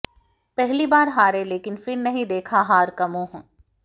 पहली बार हारे लेकिन फिर नहीं देखा हार का मुंह